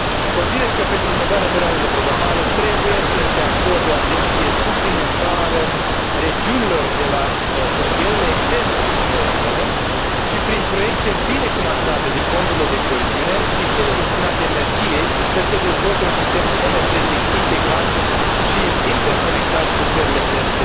Consider că, pentru următoarea perioadă de programare, trebuie să se acorde o atenție suplimentară regiunilor de la frontierele externe ale Uniunii Europene și, prin proiecte bine finanțate din fondurile de coeziune și cele destinate energiei, să se dezvolte un sistem energetic integrat și interconectat cu țările terțe